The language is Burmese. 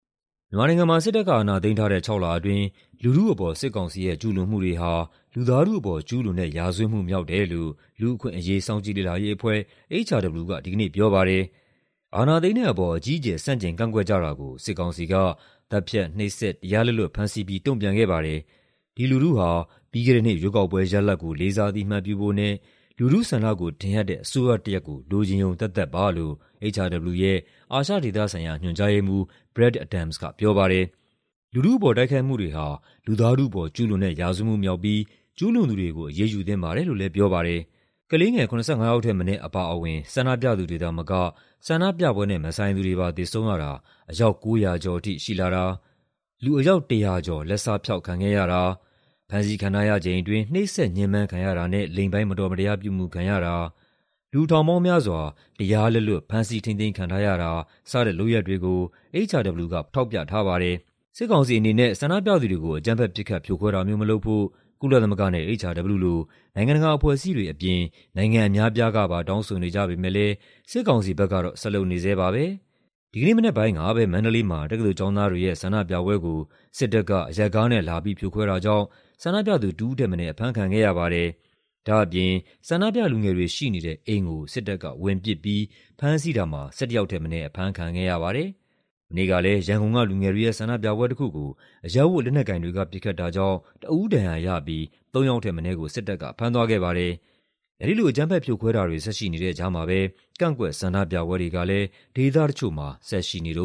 မြန်မာနိုင်ငံမှာ စစ်တပ်က အာဏာသိမ်းထားတဲ့ ခြောက်လအတွင်း လူထုအပေါ် စစ်ကောင်စီရဲ့ ကျူးလွန်မှုတွေဟာ လူသားထုအပေါ် ကျူးလွန်တဲ့ရာဇဝတ်မှုမြောက်တယ်လို့ လူ့အခွင့်အရေး စောင့်ကြည့်လေ့လာရေးအဖွဲ့ (HRW) က ဒီကနေ့ပြောပါတယ်။ "အာဏာသိမ်းတဲ့အပေါ် အကြီးအကျယ် ဆန့်ကျင်ကန့်ကွက်ကြတာကို စစ်ကောင်စီက သတ်ဖြတ်၊ နှိပ်စက်၊ တရားလက်လွတ်ဖမ်းဆီးပြီး တုံ့ပြန်ခဲ့ပါတယ်။ ဒီလူထုဟာ ပြီးခဲ့တဲ့နှစ် ရွေးကောက်ပွဲရလဒ်ကို လေးစားအသိအမှတ်ပြုဖို့နဲ့ လူထုဆန္ဒကိုထင်ဟပ်တဲ့ အစိုးရတရပ်ကို လိုချင်ရုံသက်သက်ပါ" လို့ HRW ရဲ့အာရှဒေသဆိုင်ရာ ညွှန်ကြားရေးမှူး Brad Adams ကပြောပါတယ်။ "လူထုအပေါ် တိုက်ခိုက်မှုတွေဟာ လူသားထုအပေါ် ကျူးလွန်တဲ့ ရာဇဝတ်မှုမြောက်ပြီး ကျူးလွန်သူတွေကို အရေးယူသင့်ပါတယ်" လို့လည်း ပြောပါတယ်။ ကလေးငယ် ၇၅ ယောက်ထက်မနည်းအပါအဝင် ဆန္ဒပြသူတွေသာမက ဆန္ဒပြပွဲနဲ့မဆိုင်သူတွေပါ သေဆုံးရတာ အယောက် ၉၀၀ ကျော်ထိရှိလာတာ၊ လူအယောက် ၁၀၀ ကျော် လက်စဖျောက်ခံခဲ့ရတာ၊ ဖမ်းဆီးခံထားရချိန်အတွင်း နှိပ်စက်ညှဉ်းပန်းခံရတာနဲ့ လိင်ပိုင်း မတော်မတရားပြုမူခံရတာ၊ လူထောင်ပေါင်းများစွာ တရားလက်လွတ် ဖမ်းဆီးထိန်းသိမ်းခံထားရတာ စတဲ့လုပ်ရပ်တွေကို HRW က ထောက်ပြထားပါတယ်။ စစ်ကောင်စီအနေနဲ့ ဆန္ဒပြသူတွေကို အကြမ်းဖက် ပစ်ခတ် ဖြိုခွဲတာမျိုးမလုပ်ဖို့ ကုလသမဂ္ဂနဲ့ HRW လို နိုင်ငံတကာအဖွဲ့အစည်းတွေအပြင် နိုင်ငံအများအပြားကပါ တောင်းဆိုနေကြပေမယ့်လည်း စစ်ကောင်စီဘက်ကတော့ ဆက်လုပ်နေဆဲပါပဲ။ ဒီကနေ့မနက်ပိုင်းကပဲ မန္တလေးမှာ တက္ကသိုလ်ကျောင်းသားတွေရဲ့ ဆန္ဒပြပွဲကို စစ်တပ်က အရပ်ကားနဲ့လာပြီး ဖြိုခွဲတာကြောင့် ဆန္ဒပြသူ တဦးထက်မနည်း အဖမ်းခံခဲ့ရပါတယ်။ ဒါ့အပြင် မြတောင်သပိတ်စစ်ကြောင်းမှာပါတဲ့ လူငယ်တွေ ရှိနေတဲ့အိမ်ကို စစ်တပ်ကဝင်ပစ်ပြီး ၆ ယောက်ထက်မနည်းကို ဖမ်းဆီးသွားပါတယ်။ မနေ့ကလည်း ရန်ကုန်က လူငယ်တွေရဲ့ဆန္ဒပြပွဲတခုကို အရပ်ဝတ် လက်နက်ကိုင်တွေက ပစ်ခတ်တာကြောင့် တဦးဒဏ်ရာရပြီး သုံးယောက်ထက်မနည်းကို စစ်တပ်က ဖမ်းသွားခဲ့ပါတယ်။ အဲဒီလို အကြမ်းဖက်ဖြိုခွဲတာတွေ ဆက်ရှိနေတဲ့ကြားမှာပဲ ကန့်ကွက်ဆန္ဒပြပွဲတွေကလည်း ဒေသတချို့မှာ ဆက်ရှိနေတ